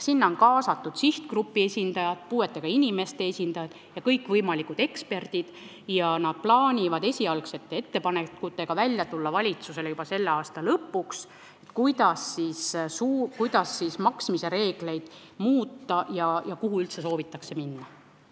Sinna on kaasatud sihtgrupi, puudega inimeste esindajad ja kõikvõimalikud eksperdid ning nad plaanivad juba selle aasta lõpus tulla valitsusse esialgsete ettepanekutega, kuidas maksmise reegleid muuta ja kuhupoole üldse soovitakse minna.